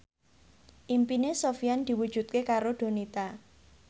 impine Sofyan diwujudke karo Donita